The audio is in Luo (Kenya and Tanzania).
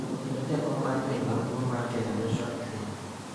kendo Jakom mar Bengi maduong’ mar Kenya Joshua Opiyo,